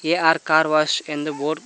AR car wash ಎಂದು board --